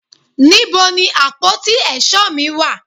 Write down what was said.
níbo ni àpótí èsó mi wà